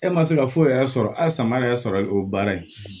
E ma se ka foyi yɛrɛ sɔrɔ a sama yɛrɛ sɔrɔ o baara in